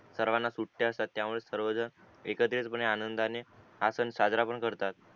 या सर्वाना सुट्या असतात त्या मुले सर्व जण एकटत्रित पने आनंदाने हा सण साजरा पण करतात